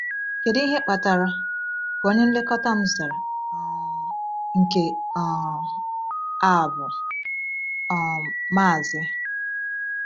“Kedu ihe kpatara,” ka onye nlekọta m zara, um “nke um a bụ um Maazị.”